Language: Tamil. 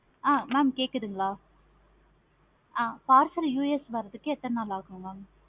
ஆஹ் mam கேட்குதுங்களா? ஆஹ் parcel US வரதுக்கு எத்தனை நாள் ஆகும். mam